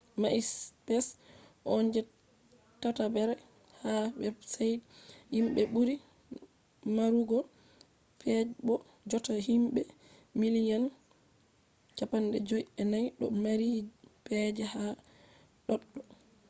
maispes on je tatabre ha websaits himɓe ɓuri marugo pej bo jotta himɓe miliyan 54 ɗo mari pej ha ɗoɗɗo